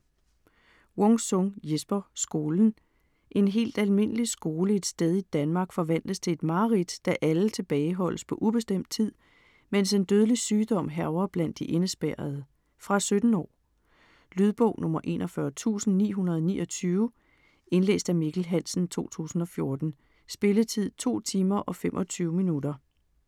Wung-Sung, Jesper: Skolen En helt almindelig skole et sted i Danmark forvandles til et mareridt, da alle tilbageholdes på ubestemt tid, mens en dødelig sygdom hærger blandt de indespærrede. Fra 17 år. Lydbog 41929 Indlæst af Mikkel Hansen, 2014. Spilletid: 2 timer, 25 minutter.